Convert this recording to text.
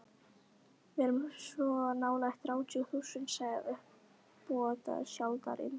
Við erum svo nálægt þrjátíu þúsundunum, sagði uppboðshaldarinn.